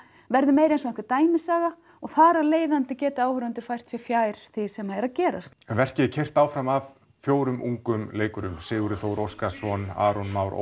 verður meira eins og einhver dæmisaga og þar af leiðandi geta áhorfendur fært sig fjær því sem er að gerast verkið er keyrt áfram af fjórum ungum leikurum Sigurði Þór Óskarssyni Aroni Má